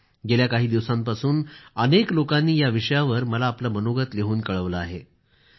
गेल्या काही दिवसांपासून अनेक लोकांनी याविषयावर मला आपलं मनोगत लिहून कळवले आहे